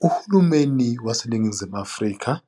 Uhulumeni waseNingizimu Afrika